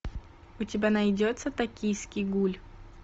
у тебя найдется токийский гуль